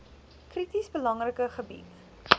krities belangrike gebied